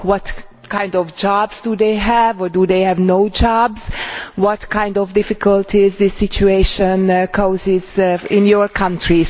What kind of jobs do they have, or do they have no jobs? What kind of difficulties does this situation cause in your country?